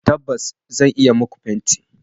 Tabbas, zan iya yi muku fenti